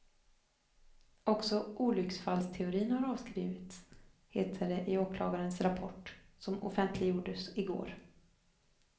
Också olycksfallsteorin har avskrivits, heter det i åklagarens rapport, som offentliggjordes igår.